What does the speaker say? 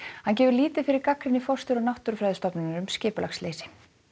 hann gefur lítið fyrir gagnrýni forstjóra Náttúrufræðistofnunar um skipulagsleysi